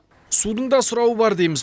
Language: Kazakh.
судың да сұрауы бар дейміз